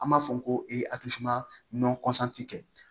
An b'a fɔ ko kɛ